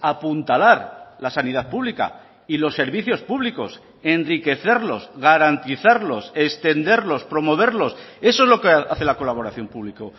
apuntalar la sanidad pública y los servicios públicos enriquecerlos garantizarlos extenderlos promoverlos eso es lo que hace la colaboración público